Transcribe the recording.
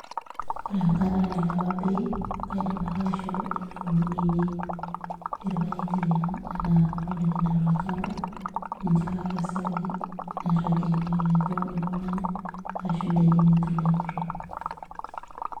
Ore enkata nailepa bei kaidim ake aishoo ilukunkuni ainei ilpaek tiang' kulo likituuno ninche ake akesaki nepuonu anya arashu indaikin nikitelekutua.